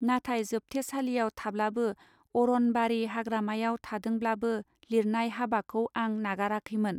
नाथाय जोबथे सालियाव थाब्लाबो अरन बारि हाग्रामायाव थादोंब्लाबो लिरनाय हाबाखौं आं नागाराखैमोन.